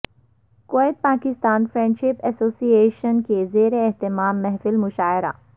Kuwait Pakistan friendship association کے زیر اھتمام محفل مشاعرہ